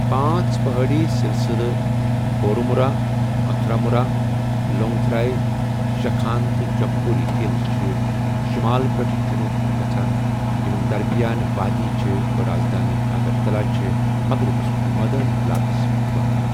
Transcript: پانٛژ پٔہٲڑی سِلسِلہٕ، بورومُرا، اَتھرامُرا، لونٛگتَھرای، شَخان تہٕ جمپوی ہِلز چھِ شُمال پیٚٹھٕ جٔنوٗب کُن گَژھان، یَمن درمِیان وادِی چھےٚ، رازدٲنہِ اَگرتلہ چھےٚ مغرِبس کُن مٲدٲنی علاقس منٛز واقع۔